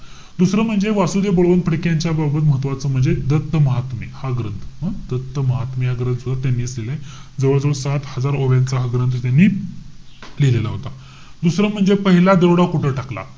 दुसरं म्हणजे वासुदेव बळवंत फडके यांच्या बरोबर महत्वाचं म्हणजे दत्त महात्मे हा ग्रंथ. हं? दत्त महात्मे हा ग्रंथ त्यांनीच लिहिलाय. जवळजवळ सात हजार ओव्याचा हा ग्रंथ त्यांनी लिहिलेला होता. दुसरं म्हणजे पहिला दरोडा कुठे टाकला?